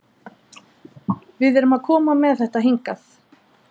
Við erum að koma með þetta hingað?